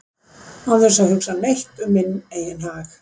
án þess að hugsa neitt um minn eigin hag